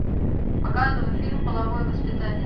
показывай фильм половое воспитание